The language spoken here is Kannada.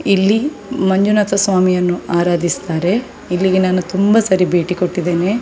ಇಲ್ಲಿ ಮಂಜುನಾಥ ಸ್ವಾಮಿಯನ್ನು ಆರಾಧಿಸ್ತಾರೆ ಇಲ್ಲಿಗೆ ನಾನು ತುಂಬ ಸಲ ಭೇಟಿ ಕೊಟ್ಟಿದ್ದೇನೆ .